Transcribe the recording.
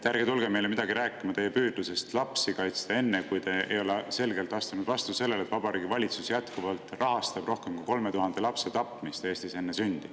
Ärge tulge meile midagi rääkima oma püüdlusest lapsi kaitsta enne, kui te ei ole selgelt astunud vastu sellele, et Vabariigi Valitsus rahastab jätkuvalt Eestis rohkem kui 3000 lapse tapmist enne nende sündi.